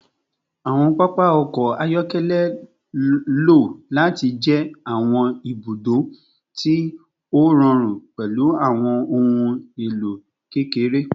Awọn papa ọkọ ayọkẹlẹ lo lati jẹ awọn ibudo ti o rọrun pẹlu awọn ohun elo kekere